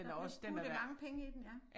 Der er blevet puttet mange penge i den ja